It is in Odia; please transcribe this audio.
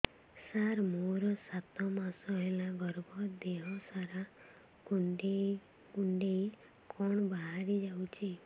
ସାର ମୋର ସାତ ମାସ ହେଲା ଗର୍ଭ ଦେହ ସାରା କୁଂଡେଇ କୁଂଡେଇ କଣ ବାହାରି ଯାଉଛି